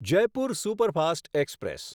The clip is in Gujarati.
Jaipur superfast express